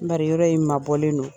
Bari yɔrɔ in mabɔlen don.